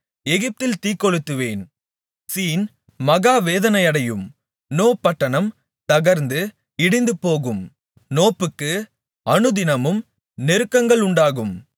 எகிப்தில் தீக்கொளுத்துவேன் சீன் மகா வேதனை அடையும் நோ பட்டணம் தகர்ந்து இடிந்துபோகும் நோப்புக்கு அனுதினமும் நெருக்கங்கள் உண்டாகும்